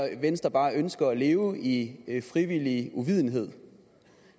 venstre bare ønsker at leve i i frivillig uvidenhed